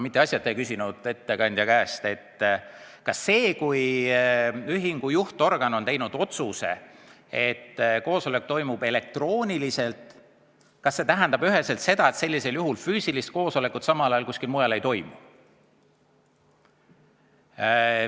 Ma ei küsinud ettekandja käest asjata, kas see, kui ühingu juhtorgan on teinud otsuse, et koosolek toimub elektrooniliselt, tähendab üheselt seda, et sellisel juhul füüsilist koosolekut samal ajal kuskil ei toimu.